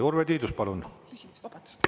Urve Tiidus, palun!